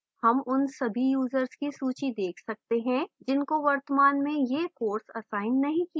हम उन सभी यूजर्स की सूची देख सकते हैं जिनको वर्तमान में यह course असाइन नहीं किया गया है